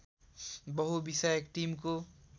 बहुविषयक टिमको